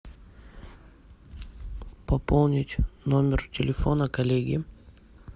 пополнить номер телефона коллеги